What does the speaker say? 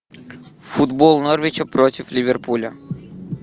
футбол норвича против ливерпуля